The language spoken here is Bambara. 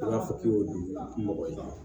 I b'a fɔ k'i y'o dun mɔgɔ ye